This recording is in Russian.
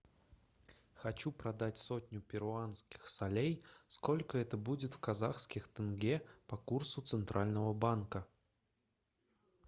хочу продать сотню перуанских солей сколько это будет в казахских тенге по курсу центрального банка